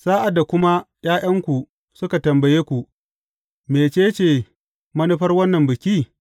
Sa’ad da kuma ’ya’yanku suka tambaye ku, Mece ce manufar wannan biki?’